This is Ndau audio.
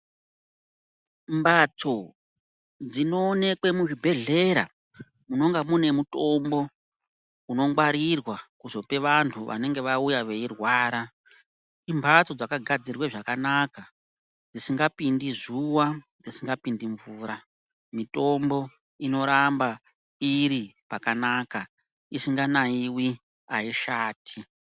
Mphatso dzinoonekwe muzvibhedhlera munonga muine mutombo unongwarirwa kuzope vantu vanenge vauya veirwara, imphatso dzakagadzirwe zvakanaka dzisingapindi zuva, dzisingapindi mvura, mitombo inoramba iri pakanaka isinganayiwi aishati.